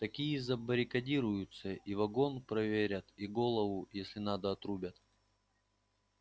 такие и забаррикадируются и вагон проверят и голову если надо отрубят